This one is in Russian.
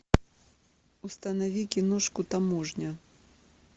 установи киношку таможня